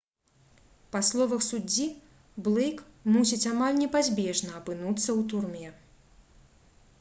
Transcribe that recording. па словах суддзі блэйк мусіць «амаль непазбежна» апынуцца ў турме